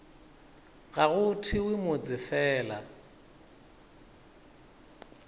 ga go thewe motse fela